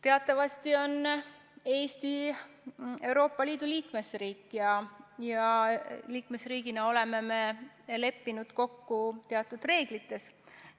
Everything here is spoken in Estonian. Teatavasti on Eesti Euroopa Liidu liikmesriik ja liikmesriigina oleme me leppinud kokku teatud reeglites.